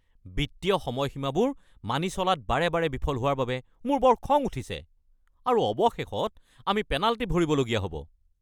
বিত্তীয় সময়সীমাবোৰ মানি চলাত বাৰে বাৰে বিফল হোৱাৰ বাবে মোৰ বৰ খং উঠিছে আৰু অৱশেষত আমি পেনাল্টি ভৰিবলগীয়া হ’ব।